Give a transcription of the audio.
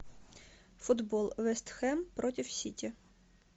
футбол вест хэм против сити